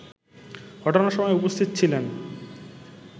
ঘটনার সময় উপস্থিত ছিলেন